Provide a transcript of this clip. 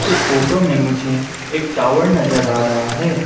इस फोटो में मुझे एक टावर नजर आ रहा है।